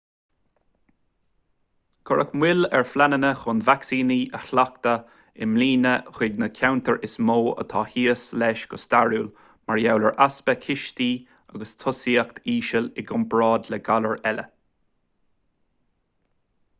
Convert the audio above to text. cuireadh moill ar phleananna chun vacsaíní a sheachadadh i mbliana chuig na ceantair is mó atá thíos leis go stairiúil mar gheall ar easpa cistí agus tosaíocht íseal i gcomparáid le galair eile